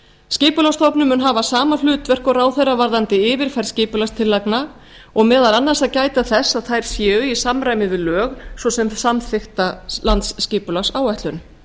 skipulagsstofnun mun hafa sama hlutverk og ráðherra varðandi yfirferð skipulagstillagna og meðal annars að gæta þess að þær séu í samræmi við lög svo sem samþykkta landsskipulagsáætlun